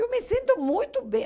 Eu me sinto muito bem.